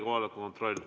Kohaloleku kontroll.